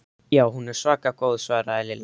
Já, hún er svaka góð svaraði Lilla.